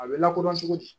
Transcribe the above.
A bɛ lakodɔn cogo di